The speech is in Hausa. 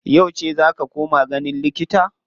Yauce za ka koma ganin likita?